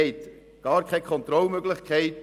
Es gibt keine Kontrollmöglichkeit.